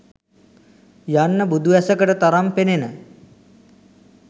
යන්න බුදු ඇසකට තරම් පෙනෙන